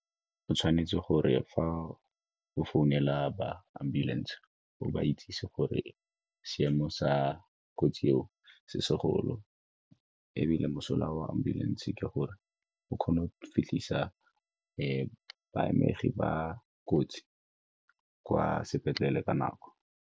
O tshwanetse gore fa o founela ba ambulance o ba itsesi gore seemo sa kotsi eo se segolo, ebile mosola wa ambulance ke gore o kgone go fitlhisa baamegi ba kotsi kwa sepetlele ka nako.